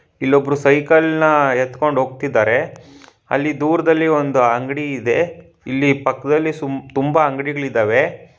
ಇಲ್ಲೊಬ್ರು ಸೈಕಲ್ ನ ಎತ್ಕೊಂಡು ಹೋಗ್ತಿದ್ದಾರೆ ಅಲ್ಲಿ ದೂರದಲ್ಲಿ ಒಂದ್ ಅಂಗಡಿ ಇದೆ ಇಲ್ಲಿ ಪಕ್ಕದಲ್ಲಿ ಸುಮ್ ತುಂಬ ಅಂಗಡಿಗಳಿದ್ದಾವೆ.